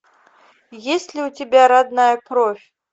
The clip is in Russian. есть ли у тебя родная кровь